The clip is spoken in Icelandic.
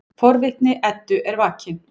Forvitni Eddu er vakin.